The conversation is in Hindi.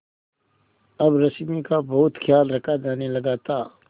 अब रश्मि का बहुत ख्याल रखा जाने लगा था